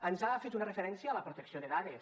ens ha fet una referència a la protecció de dades